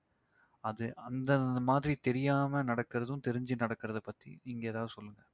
அது அந்த அந்த மாதிரி தெரியாம நடக்கிறதும் தெரிஞ்சி நடக்கிறதை பத்தி நீங்க ஏதாவது சொல்லுங்க